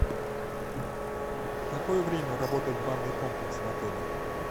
в какое время работает банный комплекс в отеле